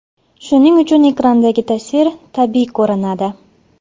Shuning uchun ekrandagi tasvir tabiiy ko‘rinadi.